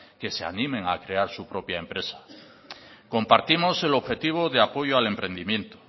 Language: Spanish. que se animen a crear su propia empresa compartimos el objetivo de apoyo al emprendimiento